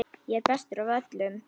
Ég er bestur af öllum!